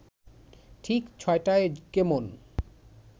ঠিক ছ’টায় কেমন